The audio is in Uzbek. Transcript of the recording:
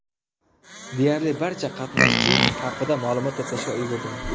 Deyarli barcha qatnashchi haqida ma’lumot to‘plashga ulgurdim.